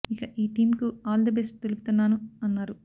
ఇక ఈ టీం కు ఆల్ ది బెస్ట్ తెలుపుతున్నాను అన్నారు